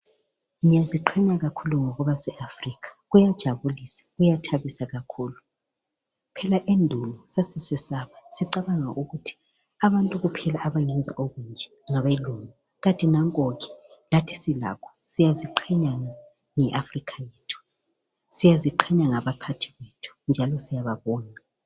ngiyaziqhenya kakhulu ngokuba se Africa kuyajabulisa kuyathabisa kakhulu phela endulo sasisesaba sicabanga ukuthi abantu kuphela abangenza okunje ngabelungu kanti nankoke lathi silakho siyaziqhenya nge Africa yethu siyaziqhenya ngabaphathi bethu njalo siyababonga